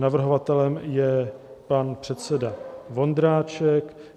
Navrhovatelem je pan předseda Vondráček.